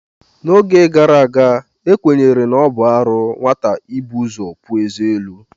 N'oge gara aga, ekwenyere na ọ bụ arụ nwata ibu ụzọ puo eze elu.